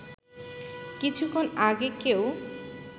কিছুক্ষণ আগে কেউ